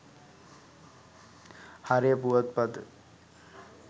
හරය පුවත් පත